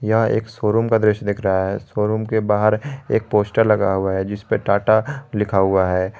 यह एक शोरूम का दृश्य दिख रहा है शोरूम के बाहर एक पोस्टर लगा हुआ है जिस पे टाटा लिखा हुआ है।